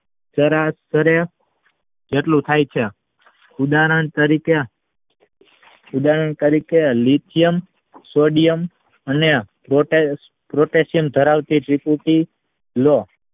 જેટલું થઈ ત્યાં ઉદાહરણ તરીકે લિચીયમ સોડિયમ અને પ્રોટેકશન ધરાવતી ત્રિપુટી લો